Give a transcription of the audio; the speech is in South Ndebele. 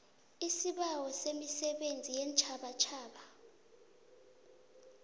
isibawo semisebenzi yeentjhabatjhaba